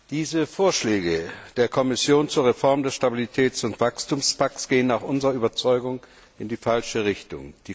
Diese Vorschläge der Kommission zur Reform des Stabilitäts und Wachstumspakts gehen nach unserer Überzeugung in die falsche Richtung.